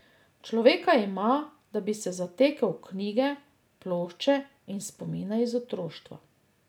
Človeka ima, da bi se zatekel v knjige, plošče in spomine iz otroštva.